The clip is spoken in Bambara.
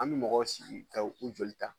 An mi mɔgɔw sigi ka u joli ta